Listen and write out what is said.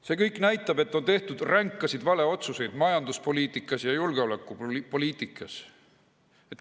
See kõik näitab, et on tehtud ränkasid valeotsuseid majanduspoliitikas ja julgeolekupoliitikas.